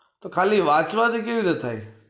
તો ખાલી વાંચવા થી કેવી રીતે થાય છે?